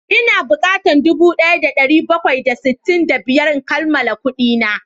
Ina bukatan dubu daya da dari bakwai da sittin da biyar in kammala kudina